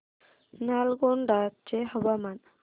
नालगोंडा चे हवामान